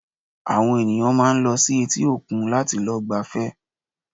Àwọn ènìyàn máa ń lọ sí etí òkun láti lọ gbafẹ́